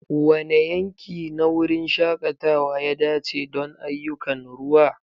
Wane yanki na wurin shakatawa ya dace don ayyukan ruwa?